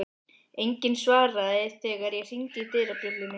Enginn svaraði þegar ég hringdi dyrabjöllunni.